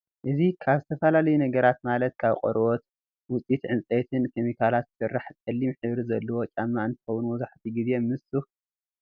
እዚ ካብ ዝተፈላለዩ ነገራት ማለት ካብ ቆርበት፣ ውፅኢት ዕንፀይቲን ከሚካላትን ዝስራሕ ፀሊም ሕብሪ ዘለዎ ጫማ እንትኸውን መብዘሐትኡ ግዜ ምስ ሱፍ ዝግበር እዩ።